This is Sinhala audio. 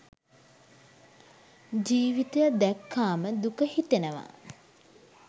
ජීවිතය දැක්කාම දුක හිතෙනවා.